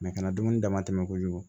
kana dumuni dama tɛmɛ kojugu